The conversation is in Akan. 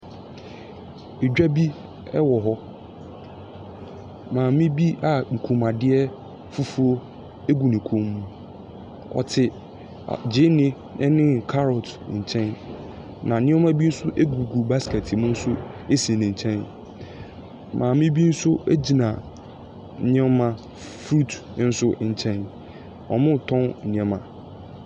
Dwa bi wɔ hɔ. maame bi a kɔnmuadeɛ fufuo gu ne kɔn mu, ɔtse gyeene ne carrot nkyɛn. Na nneɛma bi nso gugu basket mu nso si ne nkyɛn. maame bi nso gyina nneɛma f fruit nso nkyɛn. Wɔretɔn nneɛma.